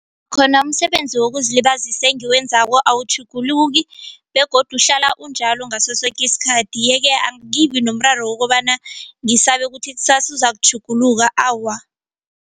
Khona umsebenzi wokuzilibazisa engiwenzako awutjhuguluki begodu uhlala unjalo ngaso soke isikhathi yeke angibi nomraro wokobana ngisabe kuthi kusasa uzakutjhuguluka awa.